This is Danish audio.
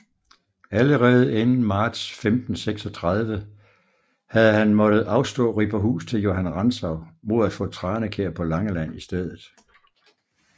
Allerede inden marts 1536 havde han måttet afstå Riberhus til Johan Rantzau mod at få Tranekjær på Langeland i stedet